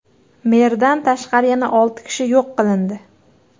Merdan tashqari, yana olti kishi yo‘q qilindi.